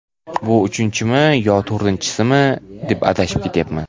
bu uchinchimi yoki to‘rtinchisimi deb adashib ketyapman.